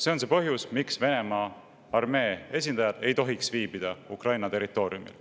See on põhjus, miks Venemaa armee esindajad ei tohiks viibida Ukraina territooriumil.